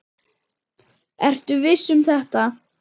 Ertu viss um þetta?